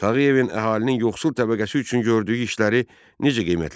Tağıyevin əhalinin yoxsul təbəqəsi üçün gördüyü işləri necə qiymətləndirirsən?